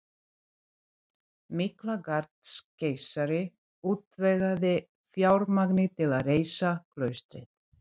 Miklagarðskeisari útvegaði fjármagnið til að reisa klaustrið